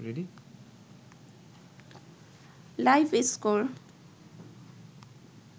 live score